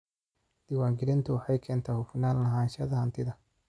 Diiwaangelintu waxay keentaa hufnaan lahaanshaha hantida.